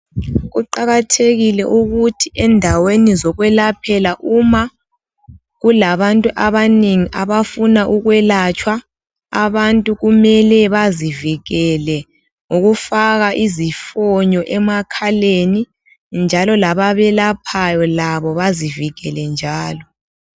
Kuqakathekile ukuthi endaweni zokwelaphela uma kulabantu abanengi abafuna ukwelatshwa abantu kumele bazivikele ngokufaka izifonyo emakhaleni njalo lababelaphayo labo bazivikele njalo.